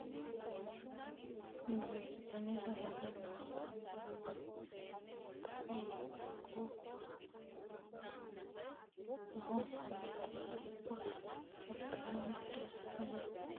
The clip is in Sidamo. duuchu dani safgale nootera hattono quuphu loonsoonniti woxi hattono budu sagale shafeeta noota anfannite yaate shoolu uduunniri worre abbinoonnite yaate